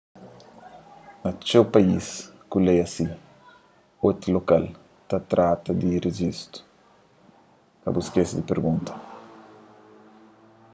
na txeu país ku lei asi ôtel lokal ta trata di rejistu ka bu skese di pergunta